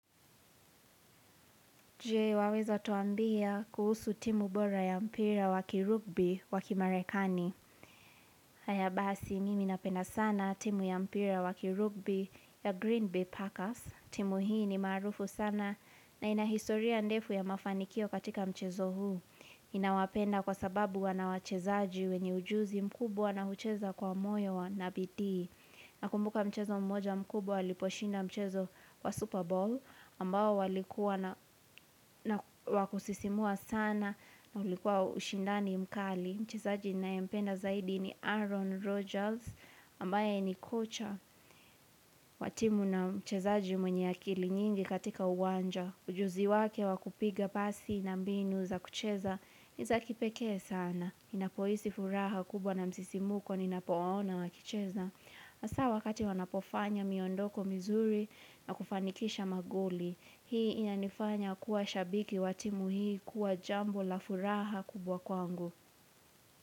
Je waweza tuambia kuhusu timu bora ya mpira waki rugby waki marekani.? Haya basi, mimi napenda sana timu ya mpira waki rugby ya Green Bay Packers. Timu hii ni maarufu sana na ina historia ndefu ya mafanikio katika mchezo huu. Inawapenda kwa sababu wana wachezaji wenye ujuzi mkubuwa na hucheza kwa moyo na bidii. Na kumbuka mchezo mmoja mkubwa, waliposhinda mchezo wa Super Bowl, ambao walikuwa na na wakusisimua sana na ulikuwa ushindani mkali. Mchezaji ninaye mpenda zaidi ni Aaron Rodgers, ambaye ni kocha wa timu na mchezaji mwenye akili nyingi katika uwanja. Ujuzi wake wakupiga pasi na mbinu za kucheza, niza kipekee sana. Inapoisi furaha kubwa na msisimuko ninapowaona wakicheza. Asawa wakati wanapofanya miondoko mizuri na kufanikisha maguoli Hii ina nifanya kuwa shabiki wa timu hii kuwa jambo la furaha kubwa kwangu.